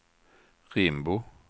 Rimbo